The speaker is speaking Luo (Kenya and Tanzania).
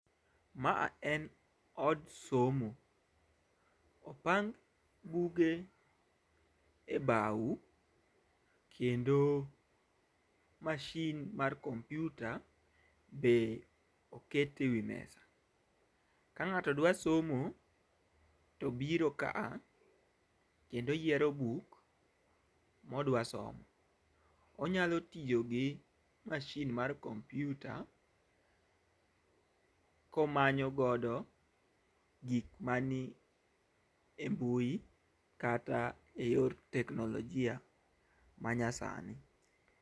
Ma a en od somo. Opang buge e bau kendo masin mar kompyuta be eket e wi mesa. Ka ng'ato dawa somo to biro ka a kendo yiero buk modwa somo. Onyalo tiyo gi masin mar kompyuta komanyo godo gik mani e mbui kata e yor teknologia manya sani.